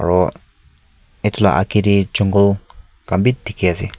aro etu laka ageh de jungkul kan b diki ase.